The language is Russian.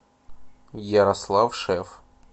ярослав шеф